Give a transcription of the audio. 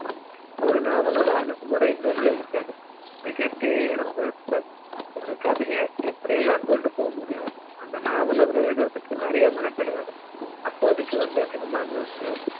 ஒரு நாவாளோட அணுகுமுறை இன்னொன்னுல இருக்காது மிக தேர்ந்தெடுத்து ஒரு கதை எப்படி எல்லா ம் கொண்டு போக முடியும் அந்த நாவலை அவரு எழுதுறதுக்கு நெறைய மெனக்கெடுவாரு அப்போ அதுக்கு வந்து cinema news